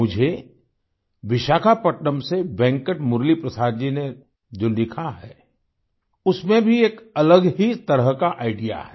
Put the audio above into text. मुझे विशाखापत्तनम से वेंकट मुरलीप्रसाद जी ने जो लिखा है उसमें भी एक अलग ही तरह का आईडीईए है